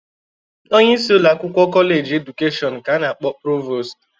Onye isi ụlọakwụkwọ Kọleji Edukeshọn ka a na-akpọ Provost.